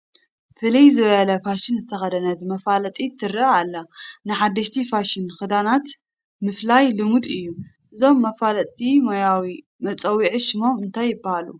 ፍልይ ዝበለ ፋሽን ዝተኸደነት መፋለጢት ትርአ ኣላ፡፡ ንሓደሽቲ ፋሽን ክዳናት ምፍላይ ልሙድ እዩ፡፡ እዞም መፋለጥቲ ሞያዊ መፀውዒ ሽሞም እንታይ ይበሃሉ?